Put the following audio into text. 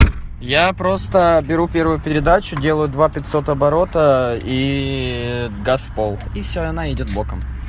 я просто беру первую передачу делаю два пятьсот оборота и газ в пол и всё и она идёт боком